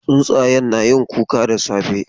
Tsuntsayen na yin kuka da safe.